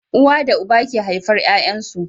Uwa da uba ke haifar Yayan su